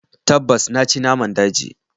Tabbas! Na ci naman daji.